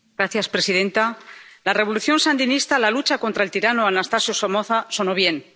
Señora presidenta, en la Revolución Sandinista, la lucha contra el tirano Anastasio Somoza sonó bien.